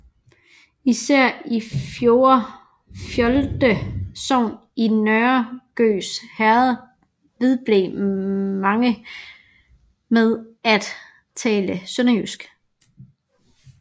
Især i Fjolde Sogn i Nørre Gøs Herred vedblev mange med at tale sønderjysk